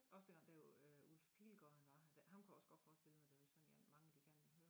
Også da ham dér øh Ulf Pilgaard han var her ham kunne jeg også godt forestille mig der var sådan set mange der gerne vil høre